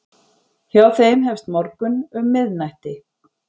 Hjá þeim hefst morgunn um miðnætti.